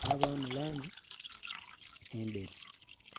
kabaamu langi endheru.